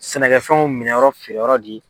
Sɛnɛkɛfɛnw minɛn yɔrɔ feere yɔrɔ de ye.